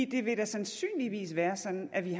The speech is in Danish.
det vil da sandsynligvis være sådan at vi